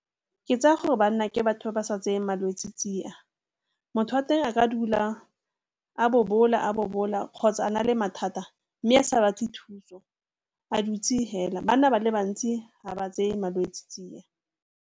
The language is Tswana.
Ke tsaya gore banna ke batho ba ba sa tseyeng malwetse tsia. Motho wa teng a ka dula a bobola a bobola kgotsa a na le mathata mme a sa batle thuso, a dutse hela. Banna ba le bantsi ha ba tseye malwetse tsia.